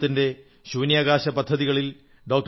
ഭാരതത്തിന്റെ ശൂന്യാകാശപദ്ധതികളിൽ ഡോ